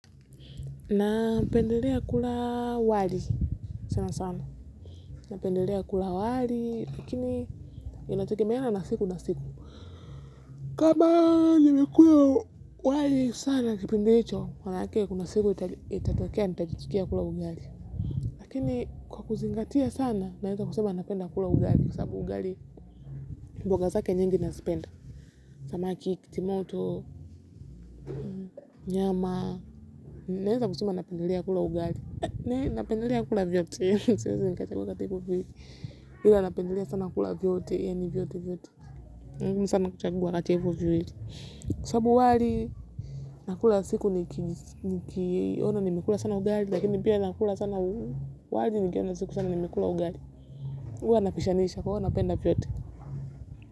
Na pendelea kula wali sana sana na pendelea kula wali lakini inategemeeana siku na siku kama nilikuwa wali sana kipindi hicho maanake kuna siku itatokea nitajitikia kula ugari lakini kwa kuzingatia sana naweza kusema napenda kula ugali kwa sababu ugali mboga zake nyingi naziipenda samaki, kitimoto, nyama. Naweza kusema napendelea kula ugali. Na napendelea kula vyote siwezi nikachagua kati ya hivyo viwili. Ila napendelea sana kula vyote yaani vyote vyote. Siwezi nikachagua kati ya hivyo viwili. Kwa sababu wali nakula siku ni kiona nimekula sana ugali lakini pia nakula sana wali nikiona siku sana nimekula ugali huwa pishanisha kwa hivyo napenda vyote.